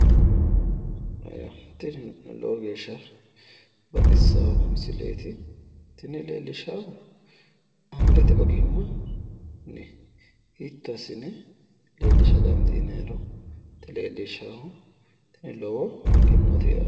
Tini lowo geeshsha baxissawo misileeti. Tini leellishshaahu angate ogimmanni hiitto assine leellisha dandiinayiroti leellishshaahu. Lowo egennooti yaate.